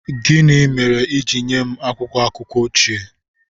Gịnị mere i ji nye m akwụkwọ akụkọ ochie?